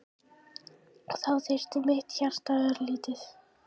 Og þá lyftist mitt hjarta örlítið.